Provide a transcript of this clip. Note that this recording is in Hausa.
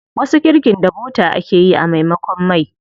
Wasu girkin da bota ake yi a maimakon mai.